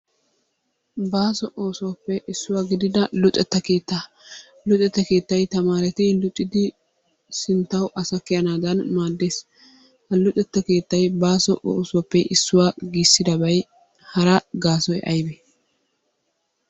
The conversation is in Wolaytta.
Baaso oosuwappe issuwa gidida luxetta keettaa, luxetta keettay tamaareti luxidi bantawu asa kiyanaadan maaddees. Ha luxetta keettay baaso oosuwappe issuwa gisiddabay hara gaasoy aybee?